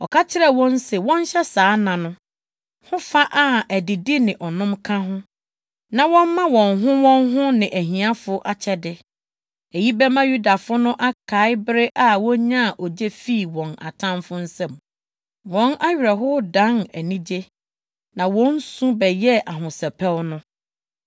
Ɔka kyerɛɛ wɔn se wɔnhyɛ saa nna no ho fa a adidi ne ɔnom ka ho, na wɔmma wɔn ho wɔn ho ne ahiafo akyɛde. Eyi bɛma Yudafo no akae bere a wonyaa ogye fii wɔn atamfo nsam, wɔn awerɛhow dan anigye, na wɔn su bɛyɛɛ ahosɛpɛw no.